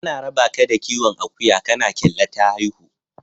Ana rabaka da kiwon akuya kana kyalla ta haihu.